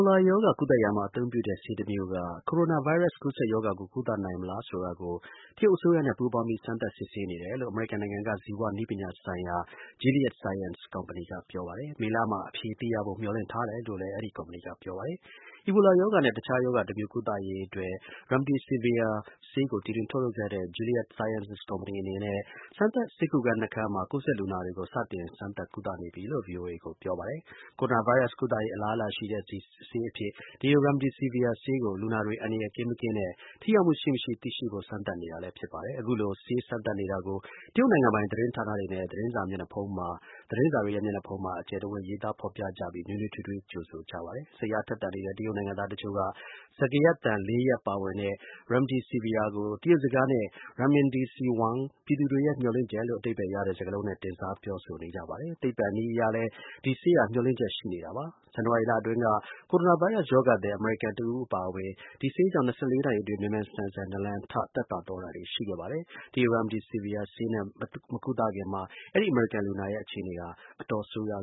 လာ ရောဂါ ကုသရာမှာ အသုံးပြုတဲ့ဆေးတမျိုးက ကိုရိုနာ ဗိုင်းရပ်စ် ကူးစက်ရောဂါကို ကုသနိုင်မလားဆိုတာကို တရုတ် အစိုးရနဲ့ ပူးပေါင်းပြီး စမ်းသပ်စစ်ဆေးနေတယ်လို့ အမေရိကန်နိုင်ငံက ဇီဝနည်းပညာဆိုင်ရာ Gilead Sciences က ပြောပါတယ်။ မေလမှာ အဖြေ သိရဖို့ မျှော်လင့်ထားတယ်လို့လည်း အဲဒီ ကုမ္ပဏီက ပြောပါတယ်။ အီဘိုလာရောဂါနဲ့ တခြား ရောဂါ တမျိုး ကုသရေး အတွက် remdesivir (ရမ်ဒဲစိဗိယာ) ဆေးကို တီထွင် ထုတ်လုပ်ခဲ့တဲ့ Gilead Sciences ကုမ္ပဏီအနေနဲ့ စမ်းသပ်ဆေးကုခန်း ၂ ခန်းမှာ ကူးစက်လူနာတွေကို စတင် စမ်းသပ် ကုသနေပြီလို့ ဗွီအိုအေကို ပြောပါတယ်။ ကိုရိုနာဗိုင်းရပ်စ် ကုသရေး အလားအလာရှိတဲ့ ဆေးအဖြစ် ဒီ remdesivir (ရမ်ဒဲစိဗိယာ) ဆေးကို လူနာတွေ အန္တရာယ် ကင်း-မကင်းနဲ့ ထိရောက်မှုရှိ-မရှိ သိရှိရဖို့ စမ်းသပ်နေတာလည်း ဖြစ်ပါတယ်။ အခုလို ဆေး စမ်းသပ်နေတာကို တရုတ်နိုင်ငံပိုင် သတင်းဌာနတွေနဲ့ သတင်းစာ မျက်နှာဖုံးမှာ အကျယ်တဝင့် ကြိုဆိုရေးသား ဖော်ပြကြပါတယ်။ စိတ်အားထက်သန် နေတဲ့ တရုတ်နိုင်ငံသား တချို့က စကားသံ ၄ ရပ် ပါဝင် remdesivir ကို တရုတ်စကားနဲ့ renmin-de-xi-wang ပြည်သူတွေရဲ့ မျှော်လင့်ချက်လို့ အဓိပ္ပါယ်ရတဲ့ စကားလုံးရပ်နဲ့ တင်စား ပြောဆိုနေကြပါတယ်။ သိပ္ပံနည်းအရလည်း ဒီ ဆေးဟာမျှော်လင့်ချက် ရှိနေတာပါ။ ဇန်နဝါရီလ အတွင်းက ကိုရိုနာဗိုင်းရပ်စ် ရောဂါသည် အမေရိကန်တဦး အပါအဝင် ဒီဆေးကြောင့် ၂၄ နာရီအတွင်း မြန်မြန်ဆန်ဆန် နာလံထ သက်သာသွားတာတွေ ရှိခဲ့ပါတယ်။ ဒီ remdesivir ဆေးနဲ့ မကုသခင် မှာ အဲဒီ အမေရိကန်လူနာရဲ့ အခြေအနေဟာ အတော် ဆိုးရွာ